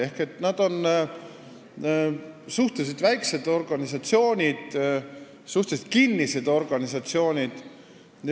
Ehk nad on suhteliselt väiksed ja suhteliselt kinnised organisatsioonid.